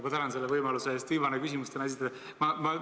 Ma väga tänan võimaluse eest esitada tänane viimane küsimus!